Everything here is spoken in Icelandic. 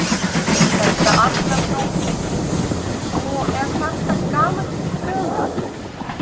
Helga Arnardóttir: Og er þetta gamall draumur?